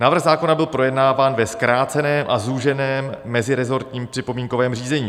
Návrh zákona byl projednáván ve zkráceném a zúženém mezirezortním připomínkovém řízení.